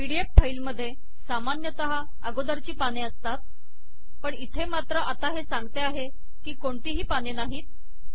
PDF file मधे सामान्यतः अगोदरची पाने असतात पण इथे मात्र आत्ता हे सांगते आहे की कोणतीही पाने नाहीत